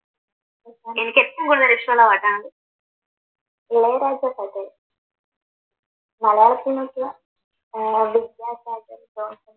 മലയാള സിനിമക്ക് ഏർ വ്യത്യാസാറ്റം ഉണ്ടോ?